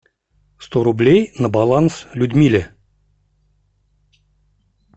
сто рублей на баланс людмиле